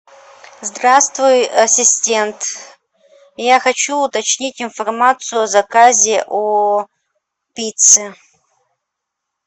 здравствуй ассистент я хочу уточнить информацию о заказе о пицце